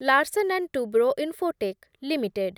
Larsen and Toubro Infotech limited